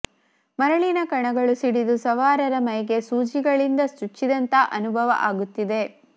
ಮರಳಿನ ಕಣಗಳು ಸಿಡಿದು ಸವಾರರ ಮೈಗೆ ಸೂಜಿಗಳಿಂದ ಚುಚ್ಚಿದಂತಹ ಅನುಭವ ಆಗುತ್ತಿದೆ